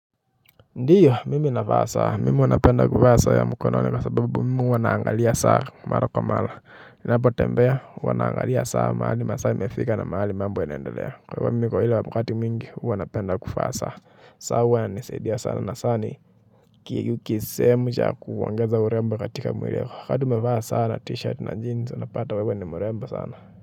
Ndiyo mimi navaa saa mimi huwa napenda kuvaa saa ya mkononi kwa sababu mimi huwa naangalia saa mara kwa mara ninapotembea huwa naangalia saa mahali masaa imefika na mahali mambo inaendelea kwa hivo kila wakati mwingi huwa napenda kuvaa saa saa huwa inanisaidia sana na saa ni kisehemu cha kuongeza urembo katika mwili wako wakati umevaa saa na t-shirt na jeans unapata wewe ni mrembo sana.